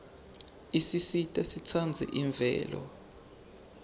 isisita sitsandze imvelo